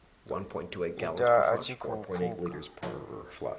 ita a tshi khou pfuka